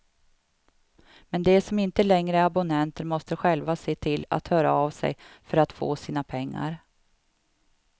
Men de som inte längre är abonnenter måste själva se till att höra av sig för att få sina pengar.